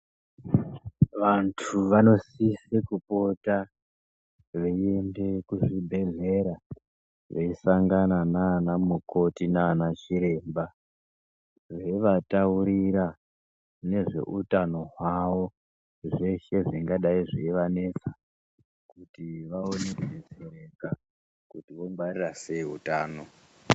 Vantu vanosise kupota veiende kuzvibhedhlera veisangana nanamukoti nanachiremba ,veivataurira nezveutano hwavo zveshe zvingadai zveivanetsa kuti vaone kubetsereka kuti vongwarira sei utano .